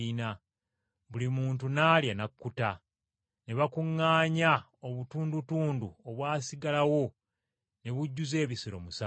Buli muntu n’alya n’akkuta. Ne babukuŋŋaanya obutundutundu obwasigalawo ne bujjuza ebisero musanvu.